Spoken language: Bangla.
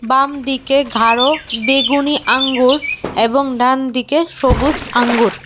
বাম দিকে ঘারো বেগুনি আঙ্গুর এবং ডানদিকে সবুজ আঙ্গুর।